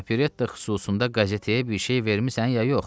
Operetta xüsusunda qəzetəyə bir şey vermisən ya yox?